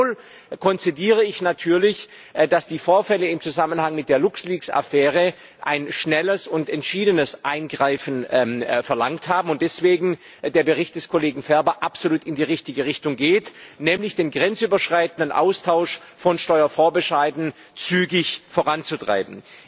Gleichwohl konzediere ich natürlich, dass die Vorfälle im Zusammenhang mit der Luxleaks Affäre ein schnelles und entschiedenes Eingreifen verlangt haben und der Bericht des Kollegen Ferber deswegen absolut in die richtige Richtung geht, nämlich den grenzüberschreitenden Austausch von Steuervorbescheiden zügig voranzutreiben.